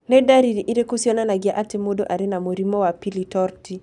Nĩ ndariri irĩkũ cionanagia atĩ mũndũ arĩ na mũrimũ wa Pili torti?